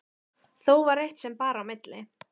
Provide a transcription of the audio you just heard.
Þó var eitt sem bar á milli.